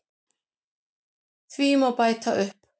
Því má bæta upp